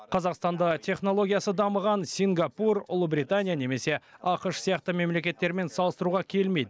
қазақстанды технологиясы дамыған сингапур ұлыбритания немесе ақш сияқты мемлекеттермен салыстыруға келмейді